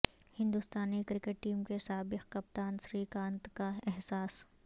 ہندوستانی cricket team کے سا بق کپتان سری کانت کا احساس